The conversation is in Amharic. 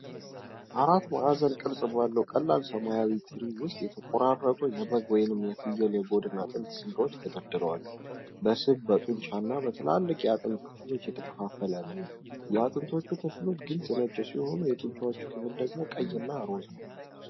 አራት ማዕዘን ቅርጽ ባለው ቀላል ሰማያዊ ትሪ ውስጥ የተቆራረጡ የበግ ወይም የፍየል የጎድን አጥንት ስጋዎች ተደርድረዋል። በስብ፣ በጡንቻ እና በትላልቅ የአጥንት ክፍሎች የተከፋፈለ ነው። የአጥንቶቹ ክፍሎች ግልጽ ነጭ ሲሆኑ፣ የጡንቻው ክፍል ደግሞ ቀይ እና ሮዝ ነው።